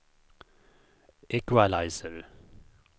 equalizer